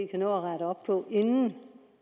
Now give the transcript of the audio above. kan nå at rette op på inden